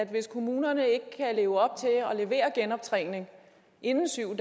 hvis kommunerne ikke kan leve op til at levere genoptræning inden syv